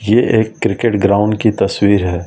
ये एक cricket ground की तस्वीर है।